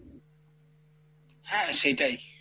হ্যাঁ সেইটাই,